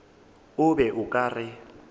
o be o ka re